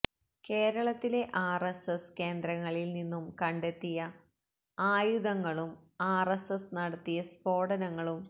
കേരളത്തിലെ ആര്എസ്എസ് കേന്ദ്രങ്ങളില് നിന്നും കണ്ടെത്തിയ ആയുധങ്ങളും ആര്എസ്എസ് നടത്തിയ സ്ഫോടനങ്ങളും